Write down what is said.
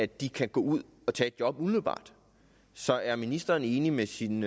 de kan gå ud og tage et job umiddelbart så er ministeren enig med sin